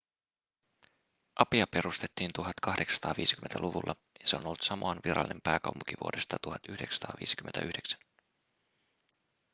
apia perustettiin 1850-luvulla ja se on ollut samoan virallinen pääkaupunki vuodesta 1959